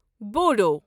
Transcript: بوٗڈو